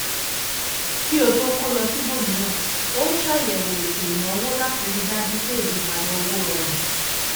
kí ó tó kó lọ síbòmíràn ó ṣàyẹwò ètò ìnáwó láti ríi dájú pé ìyípadà owó rọrùn